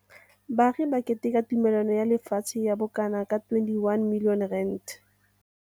Baagi ba keteka tumelano ya lefatshe ya bokanaka R21 milione.